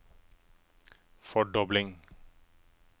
fordobling